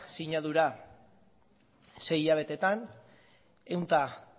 sinadura sei hilabetetan ehun eta